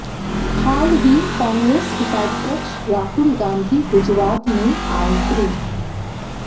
हाल ही कांग्रेस उपाध्यक्ष राहुल गांधी गुजरात में आए थे